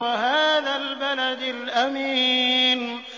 وَهَٰذَا الْبَلَدِ الْأَمِينِ